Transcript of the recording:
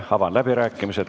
Avan läbirääkimised.